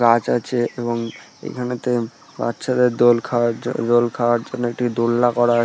গাছ আছে এবং এখানেতে বাচ্চাদের দোল খাওয়ার জ দোল খাওয়ার জন্য একটি দোলনা করা আ --